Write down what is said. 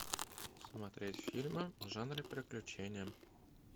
смотреть фильмы в жанре приключения